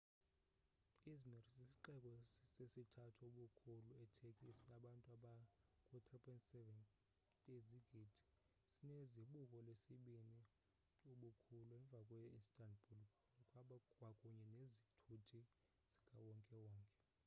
i̇zmir sisixeko sesithathu ubukhulu e-turkey esinabantu aba ku 3.7 yezigidi sine zibuko lesibini ubukhulu emva kwe instabul kwakunye nezithuthi zikawonkewonke